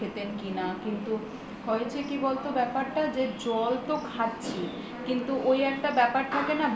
খেতেন কিনা কিন্তু হয়েছে কি বল তো ব্যাপারটা যে জল তো খাচ্ছি কিন্তু ওই একটা ব্যাপার থাকে না